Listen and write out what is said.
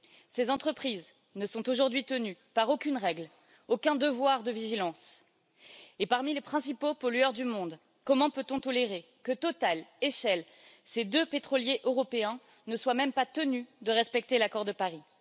Ces entreprises ne sont aujourd'hui tenues par aucune règle, aucun devoir de vigilance. Et parmi les principaux pollueurs du monde, comment peut on tolérer que Total et Shell, ces deux pétroliers européens, ne soient même pas tenus de respecter l'accord de Paris?